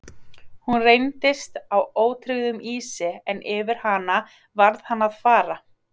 Hún reyndist á ótryggum ísi en yfir hana varð hann að fara.